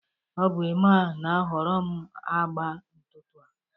ọ bụ Emma na-ahọrọ m agba ntutu a